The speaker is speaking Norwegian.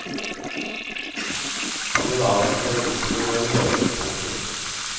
Han vil avvente en innstilling og en høring. punktum